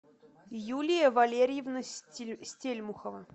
юлия валерьевна стельмухова